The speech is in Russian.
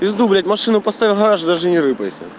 в пизду блять машину поставил в гараж даже не рыпайся